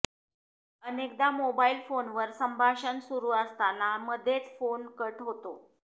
अनेकदा मोबाईल फोनवर संभाषण सुरु असताना मध्येच फोन कट होतो